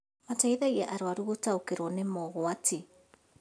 Mateithia arũaru gũtaũkĩrwo nĩ mogwati